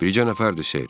Bircə nəfərdir, ser.